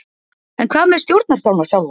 En hvað með stjórnarskrána sjálfa?